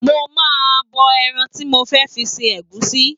Mo ma, ha bọ ẹran tí mo fẹ́ fi se ẹ̀gúsí